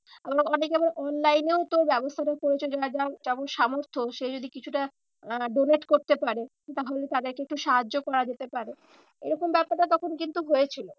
আহ অনেকে আবার online এও তো ব্যবস্থাটা করেছে। যেমন সামর্থ সে যদি কিছুটা আহ donate করতে পারে তাহলে তাদেরকে একটু সাহায্য করা যেতে পারে। এরকম ব্যাপারটা তখন কিন্তু হয়েছিল।